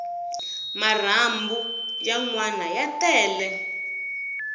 marhambu ya nwana ya tele